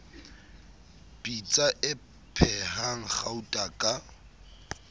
pitsa e phehang gauta ka